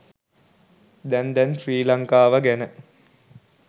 දැන් දැන් ශ්‍රී ලංකාව ගැන